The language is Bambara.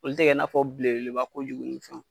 Olu te kɛ n'a fɔ belebeleba ko jugu